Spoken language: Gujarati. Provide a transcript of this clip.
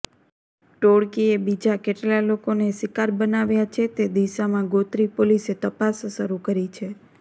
ટોળકીએ બીજા કેટલા લોકોને શિકાર બનાવ્યાં છે તે દિશામાં ગોત્રી પોલીસે તપાસ શરુ કરી છે